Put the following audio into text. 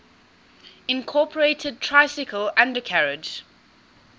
incorporated tricycle undercarriage